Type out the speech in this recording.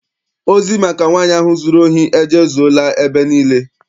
Ozi maka nwaanyị ahụ zụrụ ohi ejezuela ebe niile.